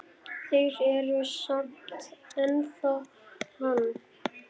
Þeir eru samt ennþá hann.